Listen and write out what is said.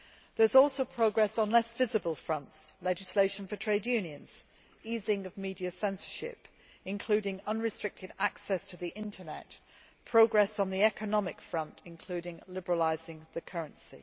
There is also progress on less visible fronts legislation for trade unions, easing of media censorship including unrestricted access to the Internet and progress on the economic front, including liberalisation of the currency.